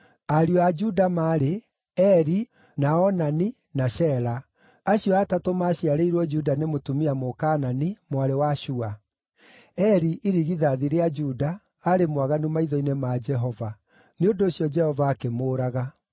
Ariũ a Juda maarĩ: Eri, na Onani, na Shela. Acio atatũ maaciarĩirwo Juda nĩ mũtumia Mũkaanani, mwarĩ wa Shua. Eri, irigithathi rĩa Juda, aarĩ mwaganu maitho-inĩ ma Jehova; nĩ ũndũ ũcio Jehova akĩmũũraga.